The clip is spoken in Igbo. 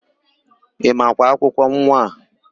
Ị makwa akwụkwọ nwa a?